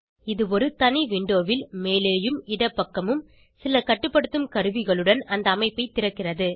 இது ஒரு தனி விண்டோவில் மேலேயும் இடப்பக்கமும் சில கட்டுப்படுத்தும் கருவிகளுடன் அந்த அமைப்பை திறக்கிறது